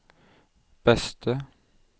beste